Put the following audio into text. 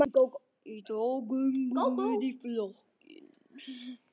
Í dag göngum við í flokkinn.